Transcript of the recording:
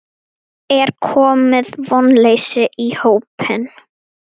Er komið vonleysi í hópinn?